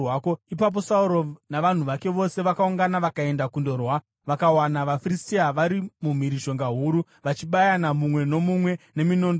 Ipapo Sauro navanhu vake vose vakaungana vakaenda kundorwa. Vakawana vaFiristia vari mumhirizhonga huru, vachibayana mumwe nomumwe neminondo yavo.